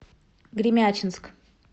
гремячинск